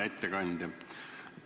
Hea ettekandja!